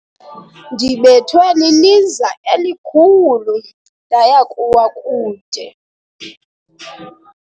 Ndibethwe liliza elikhulu ndaya kuwa kude.